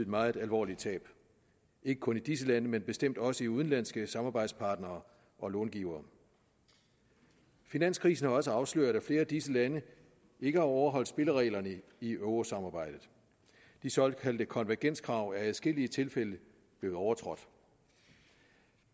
meget alvorligt tab ikke kun i disse lande men bestemt også hos udenlandske samarbejdspartnere og långivere finanskrisen har også afsløret at flere af disse lande ikke har overholdt spillereglerne i eurosamarbejdet de såkaldte konvergenskrav er i adskillige tilfælde blevet overtrådt